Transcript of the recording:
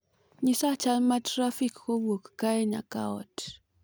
nyisa chal ma trafik kowuok kae nyaka ot